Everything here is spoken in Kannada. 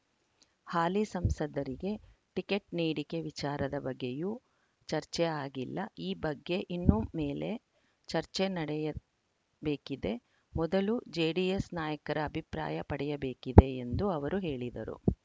ಹಾಲಿ ಸಂಸದರಿಗೆ ಟಿಕೆಟ್‌ ನೀಡಿಕೆ ವಿಚಾರದ ಬಗ್ಗೆಯೂ ಚರ್ಚೆ ಆಗಿಲ್ಲ ಈ ಬಗ್ಗೆ ಇನ್ನು ಮೇಲೆ ಚರ್ಚೆ ನಡೆಯಬೇಕಿದೆ ಮೊದಲು ಜೆಡಿಎಸ್‌ ನಾಯಕರ ಅಭಿಪ್ರಾಯ ಪಡೆಯಬೇಕಿದೆ ಎಂದು ಅವರು ಹೇಳಿದರು